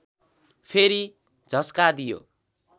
फेरि झस्का दियो